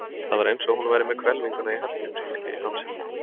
Það var eins og hún væri með hvelfinguna í Hallgrímskirkju í hálsinum.